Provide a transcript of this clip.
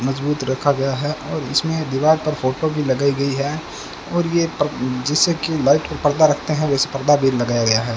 मजबूत रखा गया है और इसमें दीवाल पर फोटो भी लगाई गई है और ये पर जैसे की लाइट पर पर्दा रखते हैं वैसे पर्दा भी लगाया गया है।